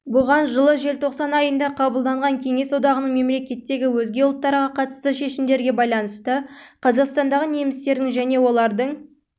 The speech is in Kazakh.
бұған жылы желтоқсан айында қабылданған кеңес одағының мемлекеттегі өзге ұлттарға қатысты шешімдерге байланысты қазақстандағы немістердің және олардың